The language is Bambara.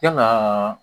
Yalaa